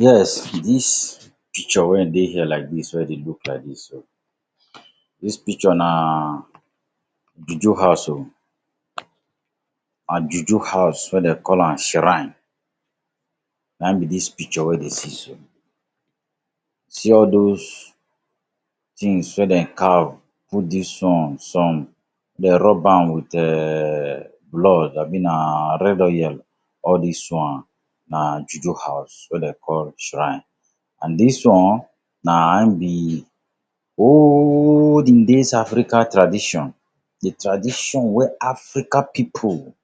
Yes, dis picture wen dey here like dis wey you dey like dis so, dis picture na juju house oh. An juju house wey de call an shrine na ein be dis picture wey dey see so. See all dos tins wey den carve, put dis on, some dey rub am with um blood abi na red oil, all dis one na juju house wey de call shrine. An dis one, na ein be olden days Africa tradition—di tradition wey Africa pipu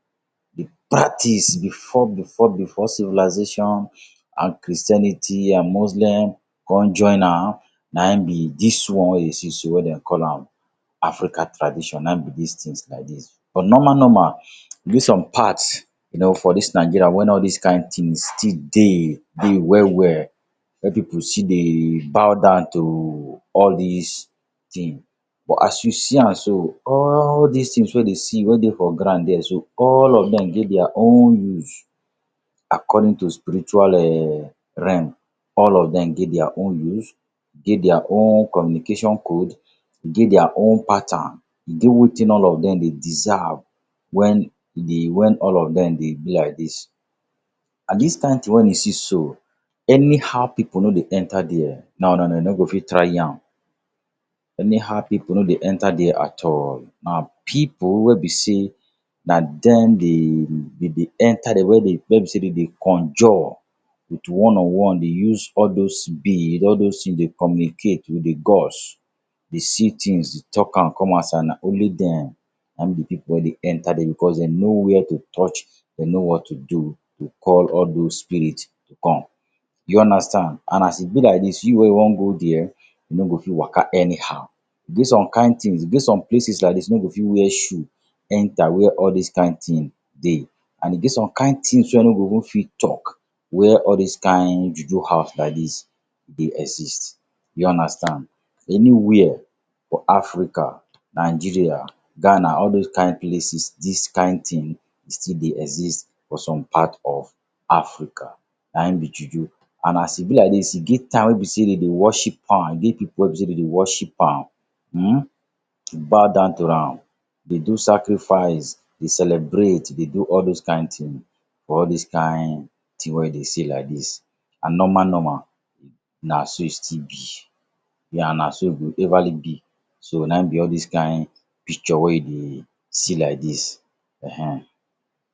dey practice before before before civilization an Christianity an Muslim con join am—na ein be dis one wey you see so wey de call am Africa tradition, na ein be dis tins like dis. But normal-normal, e get some parts you know, for dis Nigeria wen all dis kain tins still dey dey well-well wey pipu still dey bow down to all dis tin. But as you see an so, all dis tins wey you dey see wey dey for ground here so, all of dem get dia own use. According to spiritual um realm, all of dem get dia own use, get dia own communication code, get dia own pattern. E get wetin all of dem dey deserve wen e dey wen all of dem dey be like dis. An dis kain tin wen e see so, anyhow pipu no dey enter there. No no no, you no go fit try am. Anyhow pipu no dey enter there at all. Na pipu wey be sey na dem dey be be enter there wey be sey de dey conjure with one on one. De use all dos bead, all dos tin dey communicate with di gods, de see tins, de talk an come outside. Na only dem na ein be pipu wey dey enter there becos de know where to touch, de know what to do to call all dos spirit to come. You understand? An as e be like dis, you wey you wan go there, you no go fit waka anyhow. E get some kain tins, e get some places like dis wey you no go fit wear shoe enter where all dis kain tin dey. An e get some kain tins wey you no even fit talk where all dis kain juju house like dis dey exist. You understand? Anywhere for Africa—Nigeria, Ghana, all dos kain places—dis kain tin still dey exist for some part of Africa, na ein be juju. An as e be like dis, e get time wey be sey de dey worship am. E get pipu wey be sey de dey worship am, um bow down to am, de do sacrifice, de celebrate, de do all dos kain tin for all dis kain tin wey you dey see like dis. An normal-normal, na so e still be. Yeah, na so e go everly be. So, na ein be all dis kain picture wey you dey see like dis. Ehn ehn.